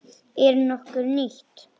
Er nokkuð nýtt?